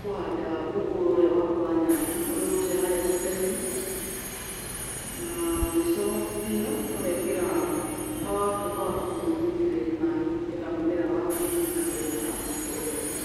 kũhanda mũngũrwa ũrĩa waku wa nyanya ũrĩa ũrutire harĩa tũta-inĩ. Na mũico biũ ũgatuĩka wa gũitĩrĩria maaĩ nĩgetha mũmera waku ũgĩthiĩ na mbere na gũkũra wega.